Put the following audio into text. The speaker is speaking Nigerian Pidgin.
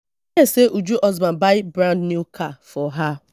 hear say uju husband buy brand new car for her